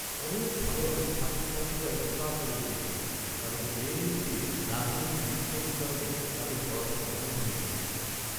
অনেক ভালো ভালো ছাত্রছাত্রীরাই হতাশ হয়ে গিয়েছিলো, কারণ জেএনইউতে রাজনৈতিক বিক্ষোভের কারণে তাদের পড়াশোনা বন্ধ হয়ে গিয়েছিল।